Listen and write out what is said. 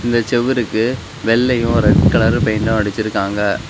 இந்த செவுருக்கு வெள்ளையும் ரெட் கலரு பெயிண்ட்டும் அடிச்சிருக்காங்க.